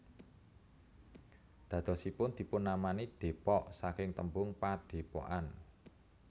Dadosipun dipun namani Depok saking tembung Padepokan